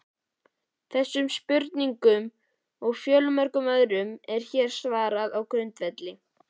Þessum spurningum og fjölmörgum öðrum er hér svarað á grundvelli